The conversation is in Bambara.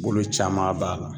Bolo caman b'a la.